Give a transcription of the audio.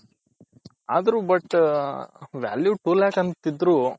ಆದರು but value two lack ಅನ್ತಿದ್ರು